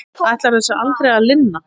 Ætlar þessu aldrei að linna?